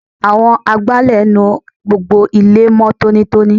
Àwọn agbálẹ̀ nu gbogbo ilẹ̀ mó tónítóní.